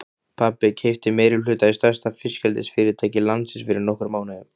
Pabbi keypti meirihluta í stærsta fiskeldisfyrirtæki landsins fyrir nokkrum mánuðum.